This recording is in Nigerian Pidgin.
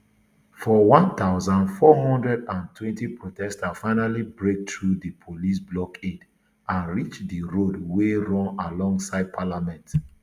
for one thousand, four hundred and twenty protesters finally break through di police blockade and reach di road wey run alongside parliament